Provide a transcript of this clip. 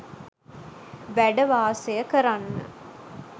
වැඩ වාසය කරන්න